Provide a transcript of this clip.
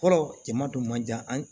Fɔlɔ jama dun man jan an